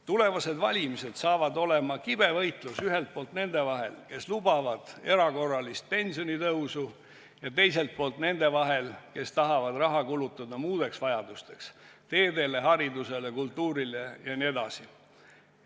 Tulevased valimised saavad olema kibe võitlus ühelt poolt nende vahel, kes lubavad erakorralist pensionitõusu, ja teiselt poolt nende vahel, kes tahavad raha kulutada muudeks vajadusteks – teedele, haridusele, kultuurile jne.